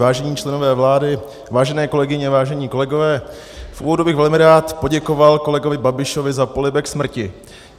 Vážení členové vlády, vážené kolegyně, vážení kolegové, v úvodu bych velmi rád poděkoval kolegovi Babišovi za polibek smrti.